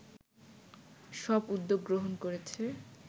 সব উদ্যোগ গ্রহণ করেছে